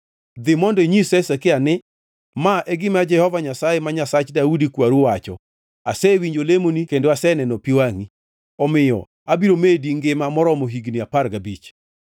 “Dhi mondo inyis Hezekia ni, ‘Ma e gima Jehova Nyasaye, ma Nyasach Daudi kwaru wacho: Asewinjo lemoni kendo aseneno pi wangʼi; omiyo abiro medi ngima moromo higni apar gabich.